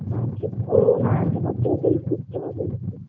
হ্যাঁ আছে ও হ্যাঁ তোমার তো ওটাই করতে হবে